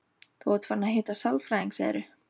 Þú ert farin að hitta sálfræðing, segirðu?